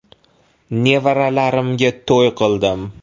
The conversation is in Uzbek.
Nevaralarimga to‘y qildim.